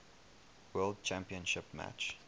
world championship match